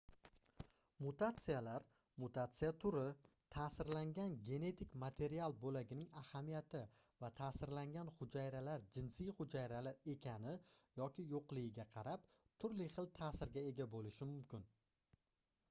mutatsiyalar mutatsiya turi taʼsirlangan genetik material boʻlagining ahamiyati va taʼsirlangan hujayralar jinsiy hujayralar ekani yoki yoʻqligiga qarab turli xil taʼsirga ega boʻlishi mumkin